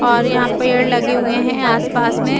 और यहां पेड़ लगे हुए हैं आसपास में।